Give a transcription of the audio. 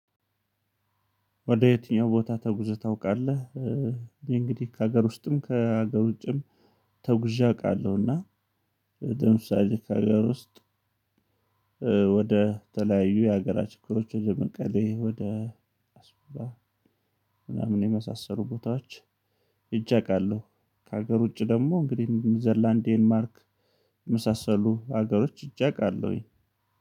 ወደ የትኛው ቦታ ተጉዘህ ታውቃለህ? እኔ እንግዲህ ከሀገር ውስጥም ከሀገር ውጭም ተጉዤ አውቃለሁና ለምሳሌ ከሀገር ውስጥ ወደ ተለያዩ የሀገራችን ሀገሮች ወደ መንቀሌ ወደ ምናምን የመሳሰሉ ቦታዎች ሄጄ አቃለሁ ከሀገር ውጪ ደግሞ እንግዲህ ኒውዘርላንድ ዴንማርክ የመሳሰሉ ሀገሮች ሄጄ አቃለሁኝ